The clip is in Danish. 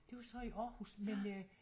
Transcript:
Det var så i Aarhus men øh